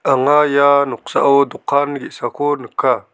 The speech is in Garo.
anga ia noksao dokan ge·sako nika.